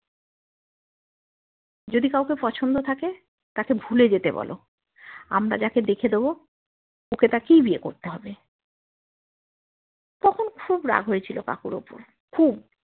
যদি কাউকে পছন্দ থাকে তাকে ভুলে যেতে বলো আমরা জেক দেখে দেব ওকে তাকেই বিয়ে করতে হবে তখন খুব রাগ হয়েছিল কাকুর ওপর খুব